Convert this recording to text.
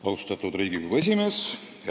Austatud Riigikogu esimees!